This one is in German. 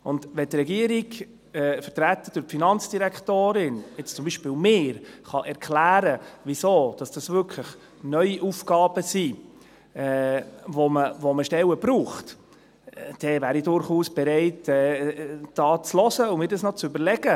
Wenn die Regierung, vertreten durch die Finanzdirektorin, zum Beispiel erklären kann, weshalb dies wirklich neue Aufgaben sind, für die man Stellen benötigt, wäre ich durchaus bereit, zuzuhören und es mir zu überlegen.